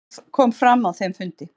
Hvað kom fram á þeim fundi?